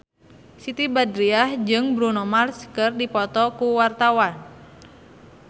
Siti Badriah jeung Bruno Mars keur dipoto ku wartawan